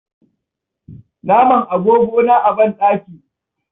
Na man agogona a banɗaki.